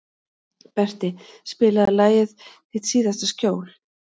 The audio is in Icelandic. Berti, spilaðu lagið „Þitt síðasta skjól“.